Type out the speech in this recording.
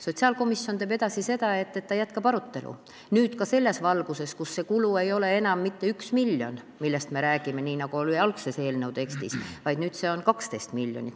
Sotsiaalkomisjon teeb seda, et ta jätkab arutelu, nüüd ka selles valguses, kus see kulu ei ole enam mitte 1 miljon, nii nagu oli algses eelnõu tekstis, vaid on 12 miljonit.